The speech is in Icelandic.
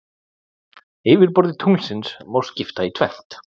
Yfirborði tunglsins má skipta í tvennt.